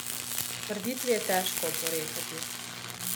Trditvi je težko oporekati.